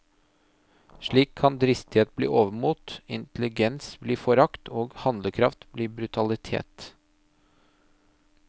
Slik kan dristighet bli overmot, intelligens bli forakt og handlekraft bli brutalitet.